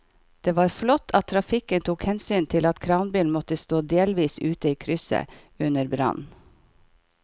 Det var flott at trafikken tok hensyn til at kranbilen måtte stå delvis ute i krysset under brannen.